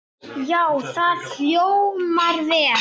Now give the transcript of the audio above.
Já, það hljómar vel.